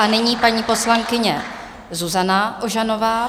A nyní paní poslankyně Zuzana Ožanová.